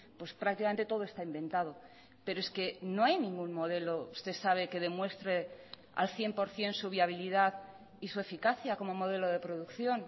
pues prácticamente todo está inventado pero es que no hay ningún modelo usted sabe que demuestre al cien por ciento su viabilidad y su eficacia como modelo de producción